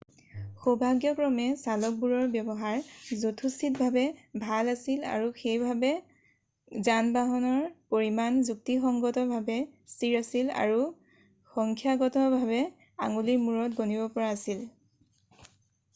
সৌভাগ্যক্ৰমে চালকবোৰৰ ব্যৱহাৰ যথোচিতভাৱে ভাল আছিল সেইবাবে যানবাহনৰ পৰিমাণ যুক্তিসংগতভাৱে স্থিৰ আছিল আৰু সংখ্যাগতভাৱে আঙুলিৰ মুৰত গণিব পৰা আছিল